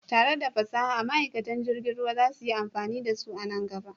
Tare da fasaha, ma'aikatan jirgin ruwa za su yi amfani da su a nan gaba.